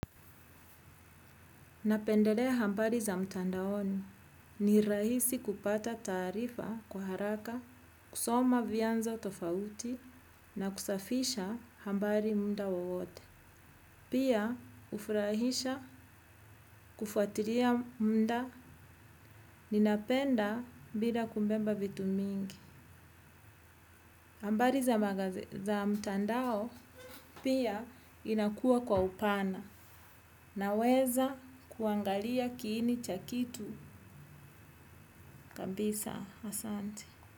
Napendelea habari za mtandaoni. Ni rahisi kupata taarifa kwa haraka, kusoma vyanzo tofauti na kusafisha habari muda wowote. Pia hufurahisha kufuatilia muda ninapenda bila kubeba vitu mingi. Habari za mtandao pia inakua kwa upana naweza kuangalia kiini cha kitu kabisa. Asante.